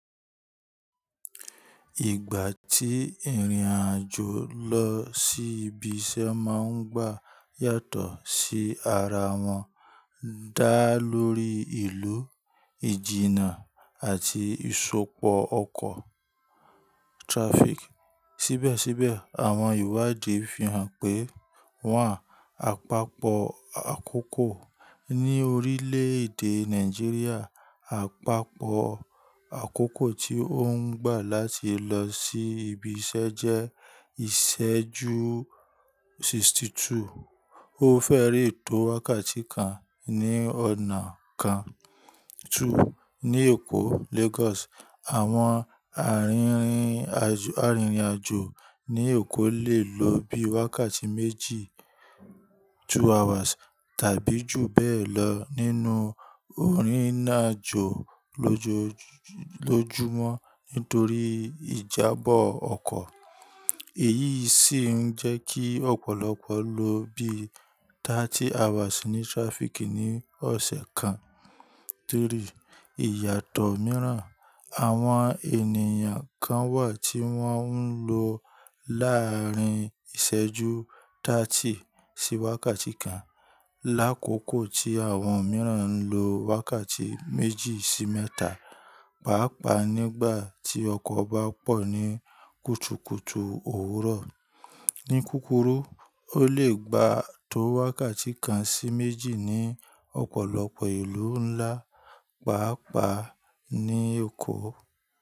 Ìgbà tí ìrìnàjò lọ sí ibi iṣẹ́ máa ń gbà yàtọ̀ sí ara wọn. Dá lórí ìlú, ìjìnnà àti ìsopọ̀ ọkọ̀ traffic. Síbẹ̀síbẹ̀, àwọn ìwádìí fi hàn pé, one, àpapọ̀ àkókò. Ní orílẹ̀èdè Nàìjíríà, àpapọ̀ àkókò tí ó ń gbà láti lọ sí ibi iṣẹ́ jẹ́ ìṣẹ́jú sixty two. Ó fẹ́rẹ ètò wákàtí kan ní ọ̀nà kan. Two, ní Èkó Lagos, àwọn arinrin, àrinrìnàjò ní Èkó lè lo bí wákàtí méjì two hours tàbí jù bẹ́ẹ̀ lọ nínú ìrìnàjò lojo- lójúmọ́ nítorí ìjábọ̀ ọkọ̀. Èyí sì ń jẹ́ kí ọ̀pọ̀lọpọ̀ lo bí thirty hours ní traffic ní ọ̀sẹ̀ kan. Three, ìyàtọ̀ mìíràn, àwọn ènìyàn kan wà tí wọ́n ń lo láàrín ìṣẹ́jú thirty sí wákàtí kan lákòókò tí àwọn mìíràn ń lo wákàtí méjì sí mẹ́ta, pàápàá nígbà tí ọkọ̀ bá pọ̀ ní kùtùkùtù òwúrọ̀. Ní kúkúrú, ó lè gba tó wákàtí kan sí méjì ní ọ̀pọ̀lọpọ̀ ìlú ńlá, pàápàá ní Èkó.